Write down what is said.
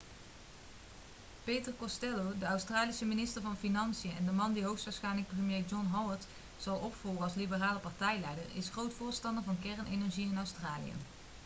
peter costello de australische minister van financiën en de man die hoogstwaarschijnlijk premier john howard zal opvolgen als liberale partijleider is een groot voorstander van kernenergie in australië